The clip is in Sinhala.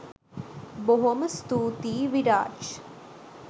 බොහොම ස්තුතියි විරාජ්